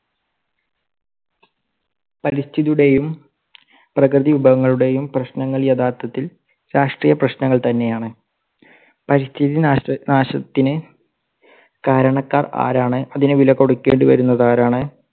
പരിസ്ഥിതിയുടെയും പ്രകൃതി വിഭവങ്ങളുടെയും പ്രശ്നനങ്ങൾ യഥാർത്ഥത്തിൽ രാഷ്ട്രീയ പ്രശ്നങ്ങൾ തന്നെ ആണ്. പരിസ്ഥിതി നാശ~നാശത്തിന് കാരണക്കാർ ആരാണ്? അതിന് വില കൊടുക്കേണ്ടി വരുന്നതാരാണ്?